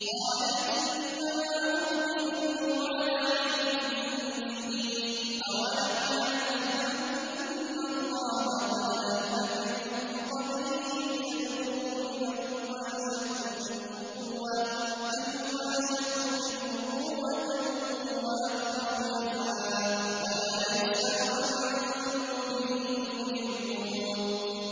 قَالَ إِنَّمَا أُوتِيتُهُ عَلَىٰ عِلْمٍ عِندِي ۚ أَوَلَمْ يَعْلَمْ أَنَّ اللَّهَ قَدْ أَهْلَكَ مِن قَبْلِهِ مِنَ الْقُرُونِ مَنْ هُوَ أَشَدُّ مِنْهُ قُوَّةً وَأَكْثَرُ جَمْعًا ۚ وَلَا يُسْأَلُ عَن ذُنُوبِهِمُ الْمُجْرِمُونَ